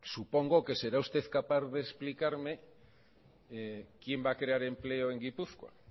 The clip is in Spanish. supongo que será usted capaz de explicarme quién va a crear empleo en gipuzkoa